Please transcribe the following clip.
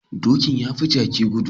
Doki yafi Jaki gudu